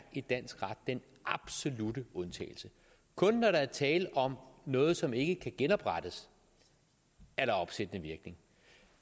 i dansk ret den absolutte undtagelse kun når der er tale om noget som ikke kan genoprettes er der opsættende virkning